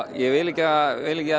ég vil ekki að